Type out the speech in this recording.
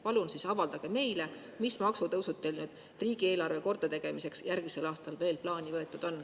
Palun avaldage siis meile, mis maksutõusud teil riigieelarve kordategemiseks järgmisel aastal veel plaani võetud on.